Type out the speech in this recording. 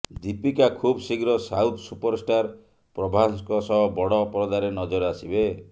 ଦୀପିକା ଖୁବ ଶୀଘ୍ର south superstar ପ୍ରଭାସଙ୍କ ସହ ବଡ ପରଦାରେ ନଜର ଆସିବେ